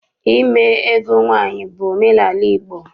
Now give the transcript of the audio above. Ime ego nwaanyị bụ omenaala Igbo.